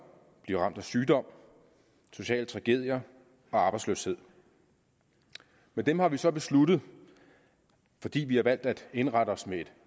bliver ramt af sygdom sociale tragedier og arbejdsløshed men dem har vi så besluttet fordi vi har valgt at indrette os med et